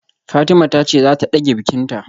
Fatima tace zata dage bikinta